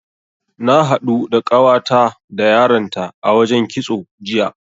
Na haɗu da ƙawata da yaranta a wajen kitso, jiya.